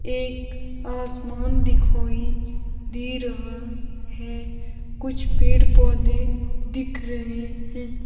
एक आसमान दिखाई दे रहा है कुछ पेड़ पौधे दिख रहे हैं।